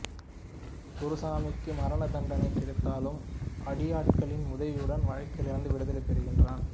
குருசாமிக்கு மரண தண்டை கிடைத்தாலும் அடியாட்களின் உதவியுடன் வழக்கிலிருந்து விடுதலை பெறுகிறான்